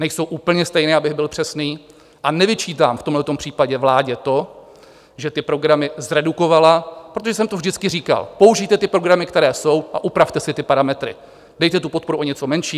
Nejsou úplně stejné, abych byl přesný, a nevyčítám v tomhle případě vládě to, že ty programy zredukovala, protože jsem to vždycky říkal: použijte ty programy, které jsou, a upravte si ty parametry, dejte tu podporu o něco menší.